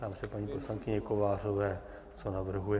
Ptám se paní poslankyně Kovářové, co navrhuje.